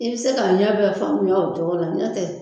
I bɛ se k'a ɲɛ bɛɛ faamuya o cogo la n'o tɛ